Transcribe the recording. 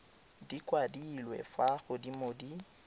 di kwadilwe fa godimo di